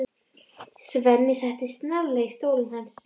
Svenni settist snarlega í stólinn hans.